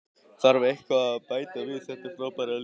Þarf eitthvað að bæta við þetta frábæra lið?